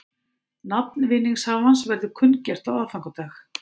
Nafn vinningshafans verður kunngjört á aðfangadag